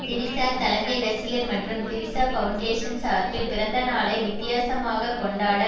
திரிஷா தலைமை ரசிகர் மன்றம் திரிஷா பவுண்டேஷன் சார்பில் பிறந்தநாளை வித்தியாசமாக கொண்டாட